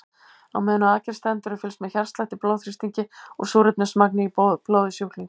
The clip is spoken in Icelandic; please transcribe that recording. Á meðan á aðgerð stendur er fylgst með hjartslætti, blóðþrýstingi og súrefnismagni í blóði sjúklings.